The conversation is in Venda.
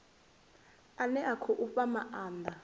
ane a khou fha maanda